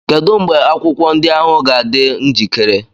Kedu mgbe akwụkwọ ndị ahụ ga-adị njikere?